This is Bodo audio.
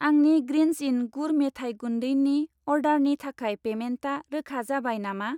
आंनि ग्रिन्ज इन गुर मेथाइ गुन्दैनि अर्डारनि थाखाय पेमेन्टा रोखा जाबाय नामा?